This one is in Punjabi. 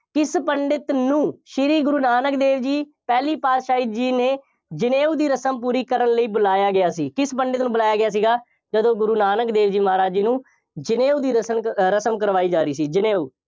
ਕਿਸ ਪੰਡਿਤ ਨੂੰ, ਸ਼੍ਰੀ ਗੁਰੂ ਨਾਨਕ ਦੇਵ ਜੀ ਪਹਿਲੀ ਪਾਤਸ਼ਾਹੀ ਜੀ ਨੇ ਜਨੇਊ ਦੀ ਰਸਮ ਪੂਰੀ ਕਰਨ ਲਈ ਬੁਲਾਇਆ ਗਿਆ ਸੀ। ਕਿਸ ਪੰਡਿਤ ਨੂੰ ਬੁਲਾਇਆ ਗਿਆ ਸੀਗਾ, ਜਦੋਂ ਗੁਰੂ ਨਾਨਕ ਦੇਵ ਜੀ ਮਹਾਰਾਜ ਜੀ ਨੂੰ, ਜਨੇਊ ਦੀ ਰਸਮ ਅਹ ਰਸਮ ਕਰਵਾਈ ਜਾ ਰਹੀ ਸੀ। ਜਨੇਊ